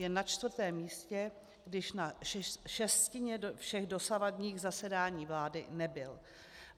Je na čtvrtém místě, když na šestině všech dosavadních zasedáních vlády nebyl.